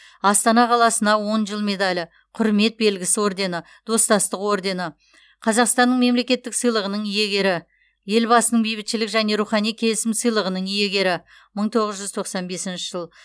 астана қаласына он жыл медалі құрмет белгісі ордені достастық ордені қазақстанның мемлекеттік сыйлығының иегері елбасының бейбітшілік және рухани келісім сыйлығының иегері мың тоғыз жүз тоқсан бесінші жыл